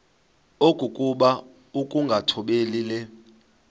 okokuba ukungathobeli le